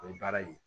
O ye baara ye